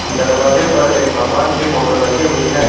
दरवाजे पर एक भगवान की फोटो लगी हुई है।